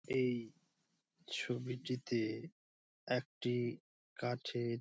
এই ছবিটিতে একটি কাঠের--